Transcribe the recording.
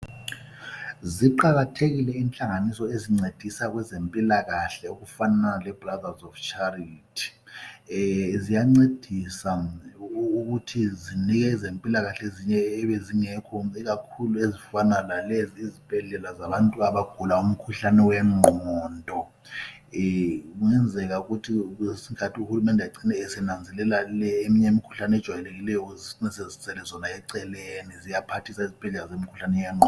Ziqakathekile inhlanganiso ezincedisa kwezempilakahle okufanana le Brothers of Charity. Ziyancedisa ukuthi zinike ezempilakahle ezinye ebezingekho ikakhulu ezifana lalezi izibhedlela zabantu abagula umkhuhlame wengqondo. Eeh kungenzeka ukuthi uhulumende acine esenazelela le eminye imikhuhlane ejwayelekileyo zicine sezisele zona eceleni. Ziyaphathisa izibhedlela zemikhuhlane yenngqondo.